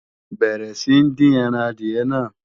Bẹ̀rẹ̀ sí ń dín ẹran adìyẹ náà!